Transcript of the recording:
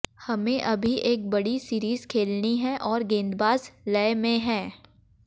हमें अभी एक बड़ी सीरीज खेलनी है और गेंदबाज लय में हैं